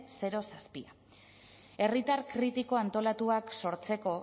zero koma zazpia herritar kritiko antolatuak sortzeko